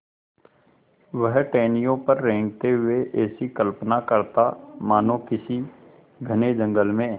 वह टहनियों पर रेंगते हुए ऐसी कल्पना करता मानो किसी घने जंगल में